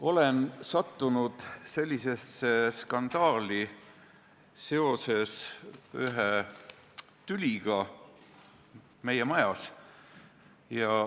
Olen sattunud sellesse skandaali seoses ühe tüliga meie majas.